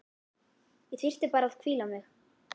Ég þyrfti bara að hvíla mig.